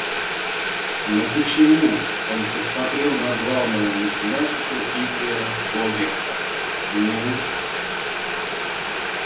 но почему он посмотрел на главного математика питера богерта ну